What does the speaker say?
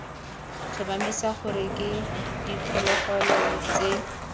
tlhomamisa gore ke diphologolo tse